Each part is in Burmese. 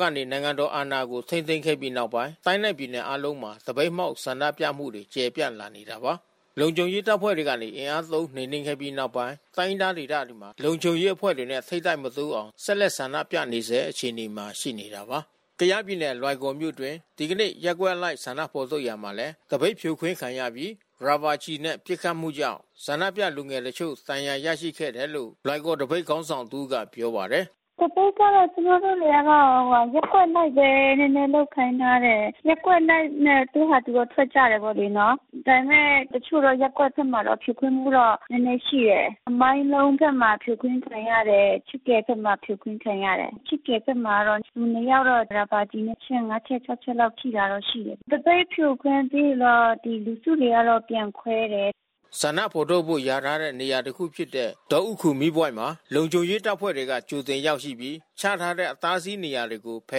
ကနေ နိုင်ငံတော်အာဏာကို ထိန်းသိမ်းခဲ့ပြီးနောက်ပိုင်း တိုင်းနဲ့ ပြည်နယ်အားလုံးမှာ သပိတ်မှောက် ဆန္ဒပြမှုတွေ ကျယ်ပြန့်လာနေတာပါ။ လုံခြုံရေးတပ်ဖွဲ့တွေကနေ အင်အားသုံးနှိမ်နင်းခဲ့ပြီးနောက်ပိုင်း တိုင်းရင်းသားဒေသတွေမှာ လုံခြုံရေးအဖွဲ့တွေနဲ့ ထိပ်တိုက်မတိုးအောင် ဆက်လက်ဆန္ဒပြနေဆဲအခြေအနေမှာ ရှိနေတာပါ။ ကယားပြည်နယ် လွိုင်ကော်မြို့အတွင်း ဒီကနေ့ ရပ်ကွက်အလိုက်ဆန္ဒဖော်ထုတ်ရာမှာလည်း သပိတ်ဖြိုခွင်းခံရပြီး ရာဘာကျည်နဲ့ ပစ်ခတ်မှုကြောင့် ဆန္ဒပြလူငယ်တချို့ ဒဏ်ရာရရှိခဲ့တယ်လို့ လွိုင်ကော်သပိတ်ခေါင်းဆောင် တဦးက ပြောပါတယ်။ “သပိတ်ကတော့ ကျမတို့တတွေကတော့ ရပ်ကွက်အလိုက်ပဲ နည်းနည်းလုပ်ခိုင်းထားတယ်။ ရပ်ကွက်အလိုက်ပဲ သူ့ဟာသူထွက်ကြတယ်လေနော်။ ဒါပေမဲ့ တချို့သောရပ်ကွက်ထဲမှာတော့ ဖြိုခွင်းမှုတော့ နည်းနည်းရှိတယ်။ မိုင်းလုံးဘက်မှာ ဖြိုခွင်းခံရတယ်။ ခြစ်ကယ်ဘက်မှာ ဖြိုခွင်းခံရတယ်။ ခြစ်ကယ်ဘက်မှာတော့ လူနှစ်ယောက်တော့ ရာဘာကျည် အချက် ၅ ချက်၊ ၆ ချက်လောက် ထိတာတော့ရှိတယ်။ သပိတ်ဖြိုခွင်းပြီးရင်တော့ လူစုတွေက ပြန်ခွဲတယ်။" ဆန္ဒဖော်ထုတ်ဖို့ လျာထားတဲ့နေရာဖြစ်တဲ့ ဒေါဥခူမီးပွိုင့်မှာ လုံခြုံရေးတပ်ဖွဲ့က ကြိုတင်ရောက်ရှိပြီး ချထားတဲ့ အတားအဆီးနေရာတွေကို ဖ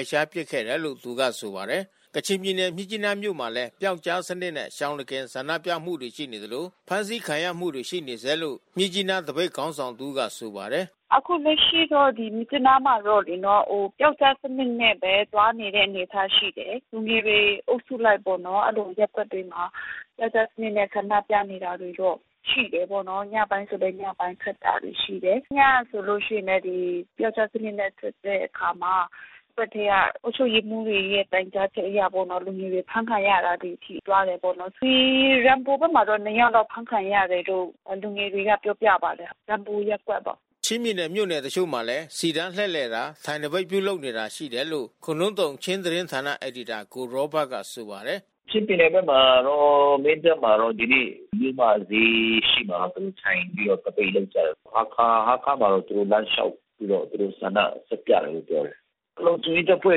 ယ်ရှားပစ်ခဲ့တယ်လို့ သူကဆိုပါတယ်။ ကချင်ပြည်နယ်မြစ်ကြီးနားမြို့မှာလည်း ပျောက်ကြားစနစ်နဲ့ ရှောင်တခင်ဆန္ဒပြမှုတွေ ရှိနေသလို ဖမ်းဆီးခံရမှုတွေ ရှိနေဆဲလို့ မြစ်ကြီးနားသပိတ်ခေါင်းဆောင်တဦးက ဆိုပါတယ်။ “အခုလက်ရှိတော့ မြစ်ကြီးနားမှာတော့ ပျောက်ကြားစနစ်နဲ့ပဲ သွားနေတဲ့အနေအထား ရှိတယ်။ လူငယ်တွေအုပ်စုလိုက်ပေါ့နော်... အဲဒီလိုရပ်ကွက်တွေမှာ ပျောက်ကြားစနစ်နဲ့ ဆန္ဒပြနေတာတော့ရှိတာပေါ့နော်။ ညပိုင်းဆိုလည်း ညပိုင်းထွက်တာ ရှိတယ်။ ညကဆိုလို့ရှိရင်လည်း ပျောက်ကြားစနစ်နဲ့ ထွက်တဲ့အခါမှာ ရပ်ကွက်ထဲက အုပ်ချုပ်ရေးမှူးတွေရဲ့ တိုင်ကြားချက်အရပေါ့။ လူငယ်တွေ အဖမ်းခံရတာတွေ ရှိကြတာပေါ့နော်။ ဒီ ရမ်ဘူဘက်မှာ နှစ်ယောက်တော့ အဖမ်းခံရတယ်လို့ လူငယ်တွေက ပြောပြပါတယ်။ ရမ်ဘူရပ်ကွက်ပေါ့။ ချင်းပြည်နယ်မြို့နယ်တချို့မှာလည်း စီတန်းလှည့်လည်တာ ထိုင်သပိတ်ပြုလုပ်နေတာ ရှိတယ်လို့ ခိုနှုမ်းသုန်ချင်းသတင်းဌာန အယ်ဒီတာ ကိုရောဘတ်ကဆိုပါတယ်။ “ချင်းပြည်နယ်ဘက်မှာတော့ မင်းတပ်မှာတော့ ဒီနေ့ မြို့မဈေးရှေ့မှာတော့ သူတို့ထိုင်ပြီးတော့ သပိတ်လုပ်ကြတယ်။ ဟားခါးမှာတော့ သူတို့ လမ်းလျှောက်ပြီးတော့ သူတို့ဆန္ဒထုတ်ပြတယ်လို့ ပြောတယ်။ လုံခြုံရေးတပ်ဖွဲ့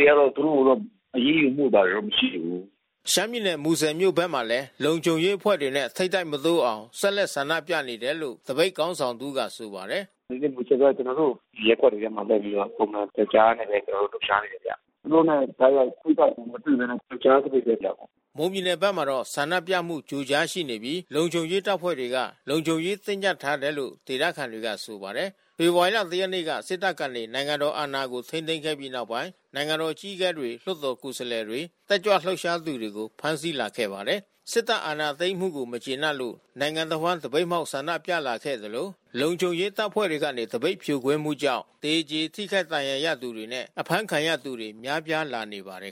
တွေတော့ သူတို့ကိုတော့ အရေးယူမှုတွေ မရှိဘူး။” ရှမ်းပြည်နယ်၊ မူဆယ်မြို့ဘက်မှာလည်း လုံခြုံရေးအဖွဲ့တွေနဲ့ ထိပ်တိုက်မတိုးအောင် ဆက်လက်ဆန္ဒပြနေတယ်လို့ သပိတ်ခေါင်းဆောင်တဦးကဆိုပါတယ်။ “ဒီနေ့မူဆယ်ဘက် ကျနော်တို့ ရပ်ကွက်တွေထဲမှာ လုပ်ပြီးတော့ ပုံမှန်ပျောက်ကြားနဲပဲ ကျနော်တို့ လှုပ်ရှားနေတယ်ဗျ။ သူတို့နဲ့ တိုက်ရိုက် ထိပ်တိုက်မတွေ့ဘဲနဲ့ ပျောက်ကြားသပိတ်ပဲ လုပ်တယ်။” မွန်ပြည်နယ်ဘက်မှာတော့ ဆန္ဒပြမှု ကြိုကြားရှိနေပြီး လုံခြုံရေးတပ်ဖွဲ့တွေက လုံခြုံရေးတင်းကြပ်ထားတယ်လို့ ဒေသခံတွေကဆိုပါတယ်။ ဖေဖော်ဝါရီ ၁ ရက်နေ့က စစ်တပ်ကနေ နိုင်ငံတော်အာဏာကို ထိန်းသိမ်းခဲ့ပြီးနောက်ပိုင်း နိုင်ငံတော်အကြီးအကဲတွေ၊ လွှတ်တော်ကိုယ်စားလှယ်တွေ တက်ကြွလှုပ်ရှားသူတွေကို ဖမ်းဆီးလာခဲ့ပါတယ်။ စစ်တပ်အာဏာသိမ်းမှုကို မကျေနပ်လို့ နိုင်ငံတဝှမ်း သပိတ်မှောက်ဆန္ဒပြလာခဲ့သလို လုံခြုံရေးတပ်ဖွဲ့တွေကနေ သပိတ်ဖြိုခွင်းမှုကြောင့် သေကြေထိခိုက်ဒဏ်ရာရသူတွေနဲ့ အဖမ်းဆီးခံရသူတွေ များပြားလာနေပါတယ်